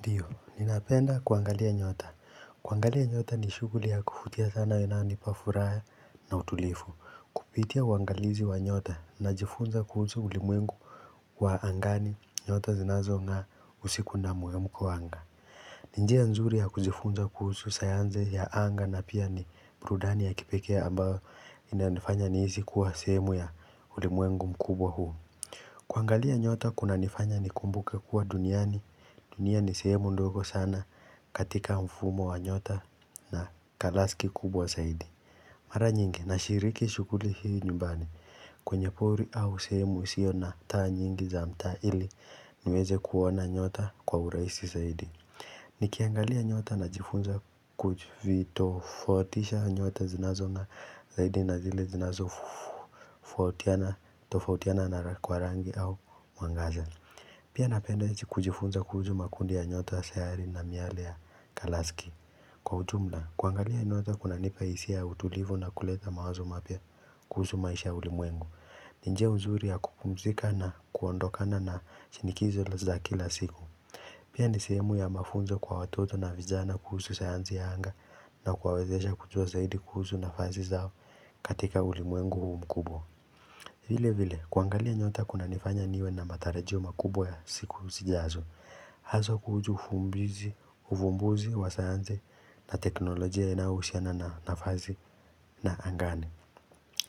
Ndiyo, ninapenda kuangalia nyota. Kuangalia nyota ni shughuli ya kuvutia sana inayonipa furaha na utulivu. Kupitia huangalizi wa nyota najifunza kuhusu ulimwengu wa angani nyota zinazo ng'aa usiku na mhemko wa anga. Ni njia nzuri ya kujifunza kuhusu sayansi ya anga na pia ni burudani ya kipekee ambayo inanifanya ni hisi kuwa sehemu ya ulimwengu mkubwa huu. Kuangalia nyota kuna nifanya ni kumbuke kuwa duniani. Dunia ni sehemu ndogo sana katika mfumo wa nyota na kalaski kubwa zaidi Mara nyingi ninashiriki shughuli hii nyumbani kwenye pori au sehemu isiyo na taa nyingi za mtaa ili niweze kuona nyota kwa urahisi zaidi Nikiangalia nyota na jifunza kujitofautisha nyota zinazo na zaidi na zile zinazo Tofautiana na kwa rangi au mwangaza Pia napendazi kujifunza kuhusu makundi ya nyota sayari na miale ya kalaski Kwa ujumla, kuangalia nyota kuna nipa hisia ya utulivu na kuleta mawazo mapya kuhusu maisha ya ulimwengu ni njia nzuri ya kupumzika na kuondokana na shinikizo za kila siku Pia nisehemu ya mafunzo kwa watoto na vijana kuhusu sayansi ya anga na kuwawezesha kujuwa zaidi kuhusu nafasi zao katika ulimwengu huu mkubwa vile vile, kuangalia nyota kuna nifanya niwe na matarajio makubwa ya siku zijazo Haswa kuhusu ufumbuzi wa sayansi na teknolojia inaohusiana na nafasi na angani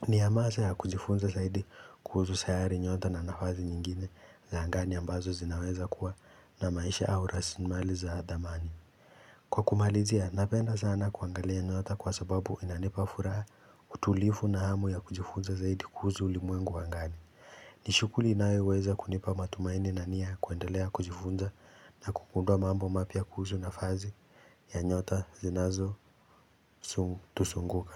ni amasa ya kujifunza zaidi kuhusu sayari nyota na nafasi nyingine za angani ambazo zinaweza kuwa na maisha au rasimali za thamani Kwa kumalizia, napenda sana kuangalia nyota kwa sababu inanipafuraha utulivu na hamu ya kujifunza zaidi kuhusu ulimwengu angani Nishughuli inayoweza kunipa matumaini na nia kuendelea kujifunza na kugundua mambo mapya kuhusu na fasi ya nyota zinazo tuzunguka.